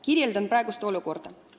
Kirjeldan praegust olukorda.